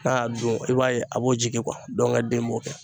N'a y'a dun i b'a ye a b'o jigin kuwa dɔngɛ den b'o kɛ